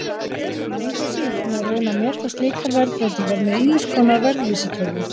Engu að síður má reyna að meta slíkar verðbreytingar með ýmiss konar verðvísitölum.